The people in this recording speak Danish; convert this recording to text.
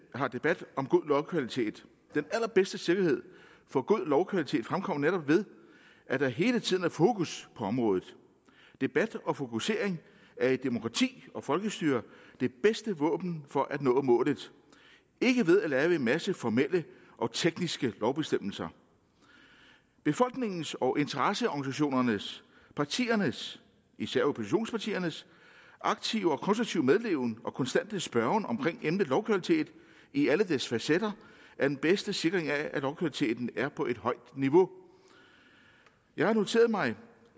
har debat om god lovkvalitet den allerbedste sikkerhed for god lovkvalitet fremkommer netop ved at der hele tiden er fokus på området debat og fokusering er i et demokrati og folkestyre det bedste våben for at nå målet ikke ved at lave en masse formelle og tekniske lovbestemmelser befolkningens og interesseorganisationernes og partiernes især oppositionspartiernes aktive og konstruktive medleven og konstante spørgen om gældende lovkvalitet i alle dens facetter er den bedste sikring af at lovkvaliteten er på et højt niveau jeg har noteret mig